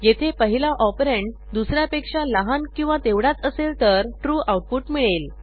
येथे पहिला ऑपरंड दुस यापेक्षा लहान किंवा तेवढाच असेल तर ट्रू आऊटपुट मिळेल